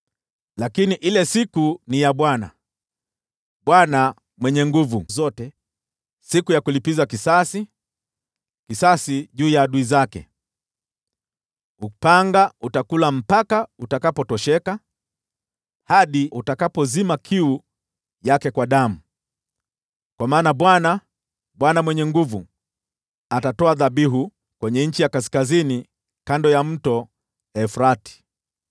Lakini ile siku ni ya Bwana, Bwana Mwenye Nguvu Zote, siku ya kulipiza kisasi, kisasi juu ya adui zake. Upanga utakula hata utakapotosheka, hadi utakapozima kiu yake kwa damu. Kwa maana Bwana, Bwana Mwenye Nguvu Zote, atatoa dhabihu kwenye nchi ya kaskazini, kando ya Mto Frati.